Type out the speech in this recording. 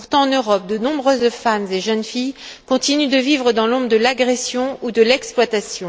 Pourtant, en Europe, de nombreuses femmes et jeunes filles continuent de vivre dans l'ombre de l'agression ou de l'exploitation.